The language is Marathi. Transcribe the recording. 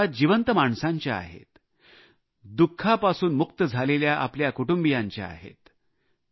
या कथा जिवंत माणसांच्या आहेत दु खापासून मुक्त झालेल्या आपल्या कुटुंबियांच्या आहेत